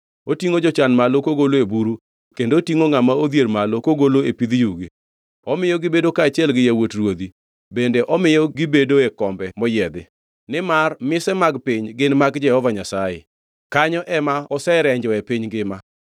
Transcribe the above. Otingʼo jachan malo kogolo e buru kendo otingʼo ngʼama odhier malo kogolo e ipidh yugi; omiyo gibedo kaachiel gi yawuot ruodhi bende omiyo gibedoe kombe moyiedhi. “Nimar mise mag piny gin mag Jehova Nyasaye, kanyo ema oserenjoe piny ngima.